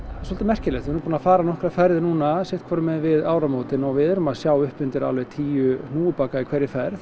svolítið merkilegt við erum búin að fara nokkrar ferðir núna sitthvorum megin við áramótin og við erum að sjá upp undir alveg tíu hnúfubaka í hverri ferð